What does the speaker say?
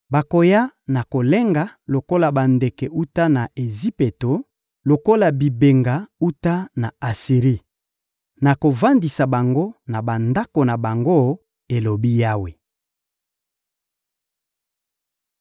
Bakoya na kolenga lokola bandeke wuta na Ejipito, lokola bibenga wuta na Asiri. Nakovandisa bango na bandako na bango, elobi Yawe.